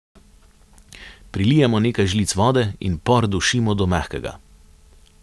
Prilijemo nekaj žlic vode in por dušimo do mehkega.